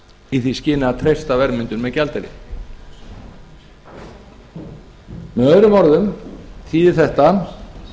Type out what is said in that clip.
í því skyni að treysta verðmyndun með gjaldeyri með öðrum orðum þýðir þetta